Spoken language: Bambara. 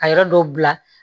A yɔrɔ dɔw bila